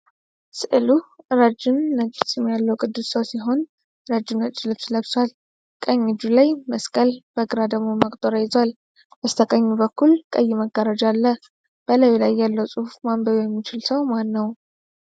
ስዕሉ ረዥም ነጭ ፂም ያለው ቅዱስ ሰው ሲሆን ረጅም ነጭ ልብስ ለብሷል። ቀኝ እጁ ላይ መስቀል፣ በግራ ደግሞ መቁጠሪያ ይዟል። በስተቀኝ በኩል ቀይ መጋረጃ አለ፤ በላዩ ላይ ያለው ጽሑፍ ማንበብ የሚችል ሰው ማን ነው?